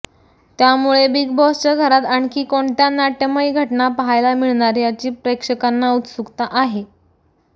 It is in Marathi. त्यामुळे बिग बाॅसच्या घरात आणखी कोणत्या नाट्यमय घटना पाहायला मिळणार याची प्रेक्षकांना उत्सुकता आहे